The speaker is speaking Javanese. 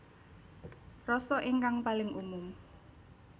Rasa ingkang paling umum